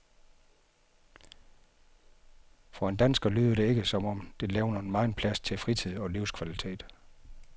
For en dansker lyder det ikke, som om det levner megen plads til fritid og livskvalitet.